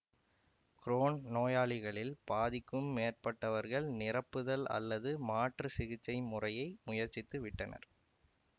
grown நோயாளிகளில் பாதிக்கும் மேற்பட்டவர்கள் நிரப்புதல் அல்லது மாற்று சிகிச்சை முறையை முயற்சித்து விட்டனர்